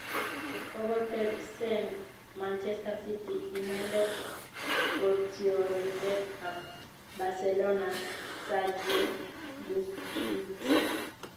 kogotebsen manchester city inendet kotiorindet ap Barcelona Sergio Busquets.